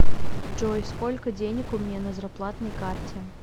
джой сколько денег у меня на зарплатной карте